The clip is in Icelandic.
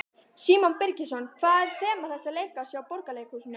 Símon Birgisson: Hvað er þema þessa leikárs hjá Borgarleikhúsinu?